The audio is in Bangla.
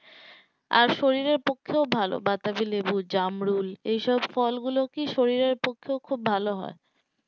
আর শরীরের পক্ষেও ভালো বাতাবিলেবু জামরুল এসব ফল গুলো কি শরীরের পক্ষেও খুব ভালো হয়